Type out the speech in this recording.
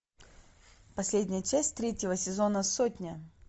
последняя часть третьего сезона сотня